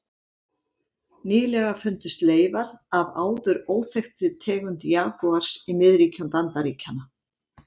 Nýlega fundust leifar af áður óþekktri tegund jagúars í miðríkjum Bandaríkjanna.